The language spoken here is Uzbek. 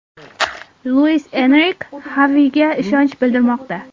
Luis Enrike Xaviga ishonch bildirmoqda.